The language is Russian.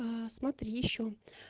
аа смотри ещё